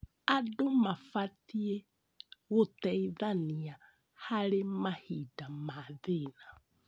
Andũ mabatiĩ gũteithania harĩ mahinda ma thĩĩna.